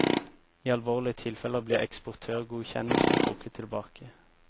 I alvorlige tilfeller blir eksportørgodkjennelsen trukket tilbake.